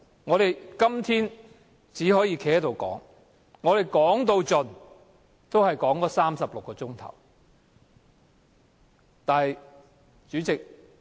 我們今天只可以站在這裏發言，但最多只可發言36小時。